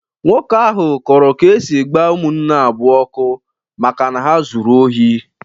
Nwoke ahụ kọrọ ka esi gbaa ụmụnne abụọ ọkụ maka na ha zụrụ ohi.